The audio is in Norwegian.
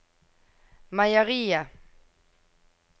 meieriet